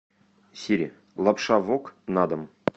сири лапша вок на дом